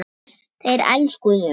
Þeir elskuðu mig.